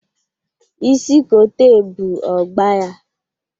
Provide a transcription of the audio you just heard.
Isi kote ebụ ọ gba ya.